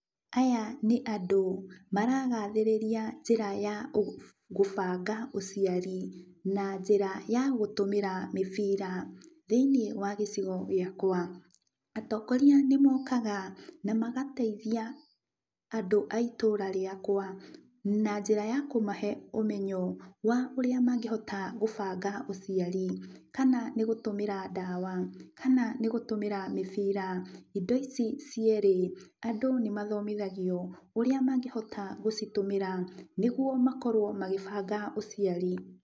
Aya nĩ andũ maragathĩrĩria njĩra ya ũ gũbanga ũciarĩ na njĩra ya gũtũmĩra mĩbira. Thĩiniĩ wa gĩcigo gĩakwa, atongoria nĩmokaga na magateithia andũ a itũra rĩakwa, na njĩra ya kũmahe ũmenyo wa ũrĩa mangĩhota gũbanga ũciari, kana nĩgũtũmĩra ndawa, kana nĩgũtũmĩra mĩbira. Indo ici cierĩ, andũ nĩmathomithagio ũrĩa mangĩhota gũcitũmĩra, nĩguo makorwo magĩbanga ũciari.